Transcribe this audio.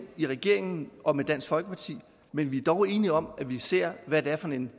i regeringen og med dansk folkeparti men vi er dog enige om at vi ser hvad det er for en